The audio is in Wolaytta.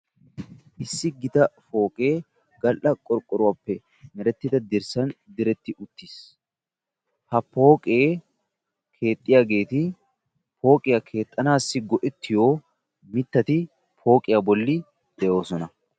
Issi gitaa pooqe gal"a qorqqoruwappe merettida dirssan diretti uttiis. Ha pooqe keexxiyaageeti pooqiya keexxanassi go"ettiyo mittati qassi de'oosona.